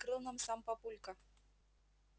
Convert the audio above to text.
открыл нам сам папулька